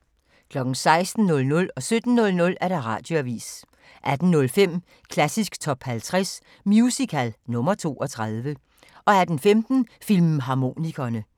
16:00: Radioavisen 17:00: Radioavisen 18:05: Klassisk Top 50 Musical – nr. 32 18:15: Filmharmonikerne